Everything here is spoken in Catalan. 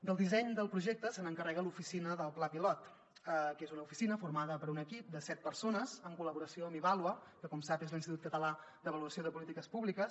del disseny del projecte se n’encarrega l’oficina del pla pilot que és una oficina formada per un equip de set persones en col·laboració amb ivàlua que com sap és l’institut català d’avaluació de polítiques públiques